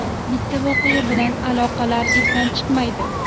Bitta voqea bilan aloqalar izdan chiqmaydi.